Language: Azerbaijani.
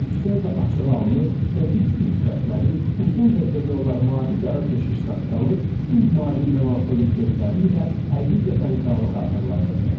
Yüksək və açıq alını, dəqiq üz xətləri, uzun və demək olar mavi-qara keşiş saqqalı, tünd mavi melanxolik gözləri ilə həqiqətən kralı xatırladırdı.